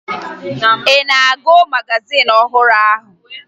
Ị na-agụ magazin ọhụrụ ahụ?